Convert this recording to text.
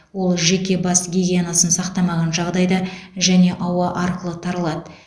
ол жеке бас гигиенасын сақтамаған жағдайда және ауа арқылы таралады